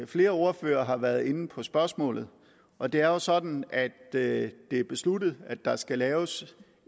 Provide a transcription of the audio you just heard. flere ordførere har været inde på spørgsmålet og det er jo sådan at det er besluttet at der skal laves